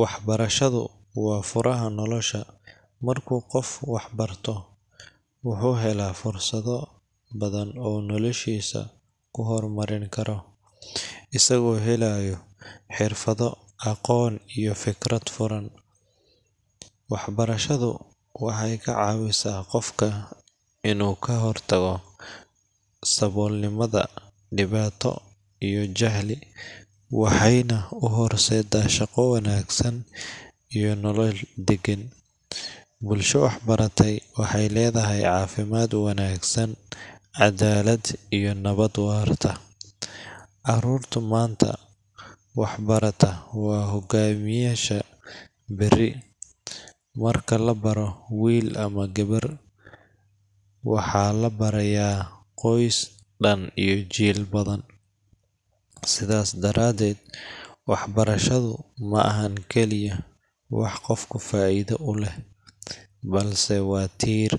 Waxbarashadu waa furaha nolosha. Marka qof wax barto, wuxuu helaa fursado badan oo uu noloshiisa ku horumarin karo, isagoo helaya xirfado, aqoon, iyo fikrad furan. Waxbarashadu waxay ka caawisaa qofka inuu ka hortago saboolnimada, dhibaato, iyo jahli, waxayna u horseeddaa shaqo wanaagsan iyo nolol deggan. Bulsho waxbaratay waxay leedahay caafimaad wanaagsan, cadaalad, iyo nabad waarta. Caruurta maanta wax barata waa hogaamiyeyaasha berri. Marka la baro wiil ama gabar, waxa la barayaa qoys dhan iyo jiil badan. Sidaas daradeed, waxbarashadu ma ahan kaliya wax qofka faa'iido u leh, balse waa tiir